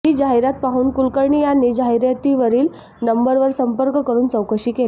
ही जाहिरात पाहून कुलकर्णी यांनी जाहिरातीवरील नंबरवर संपर्क करून चौकशी केली